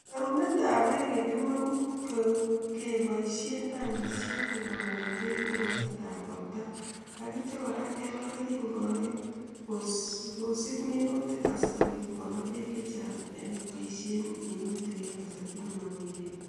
Rerunet ab bek eng kemeut keboishe tangishek kekonor bek ak imuch kebal keringonik en tabanut ab minutik sikobit kokoner bek